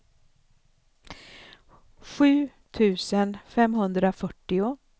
sju tusen femhundrafyrtio